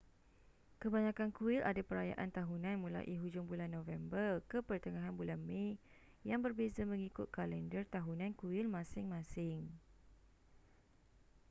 kebanyakan kuil ada perayaan tahunan mulai hujung bulan november ke pertengahn bulan mei yang berbeza mengikut kalendar tahunan kuil masing-masing